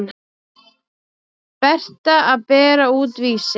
Berta að bera út Vísi.